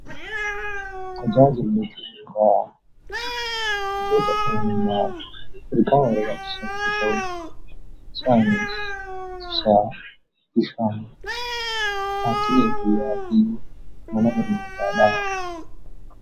Tajaajillu bu'uuraa tajaajila lammummaa... Isaanis ibsaa, bishaan, tajaajila fayyaa fi mana barnootaa dha.